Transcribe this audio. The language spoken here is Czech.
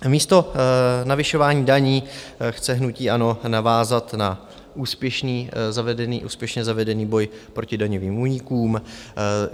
Místo navyšování daní chce hnutí ANO navázat na úspěšně zavedený boj proti daňovým únikům.